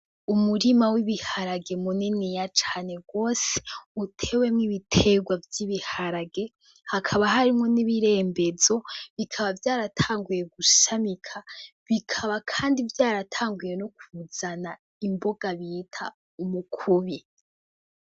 Umurima w'ibiharage muniniya cane gose utewemwo ibitegwa vy' ibiharage, hakaba harimwo n' ibirembezo bikaba vyaratanguye gushamika bikaba kandi vyaratanguye no kuzana imboga bita umukubi